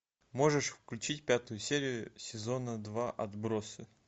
можешь включить пятую серию сезона два отбросы